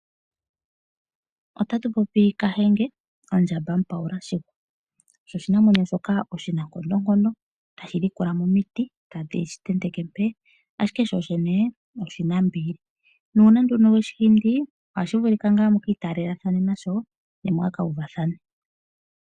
Otatu popi Kahenge, ondjamba Mupaula shihwa osho oshinamwenyo shoka oshi na nkondonkondo, tashi dhikula mo omiti, tadhi shi tenteke mpee. Ashike shoshene oshinambili, nuuna nduno weshi hindi ohashi vulika ngaa muki itaalela thane nasho ne mwaa ka uvathane.